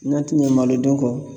N'a' ti ɲɛ malodun kɔ